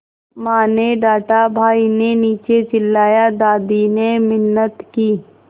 माँ ने डाँटा भाई ने चिढ़ाया दादी ने मिन्नत की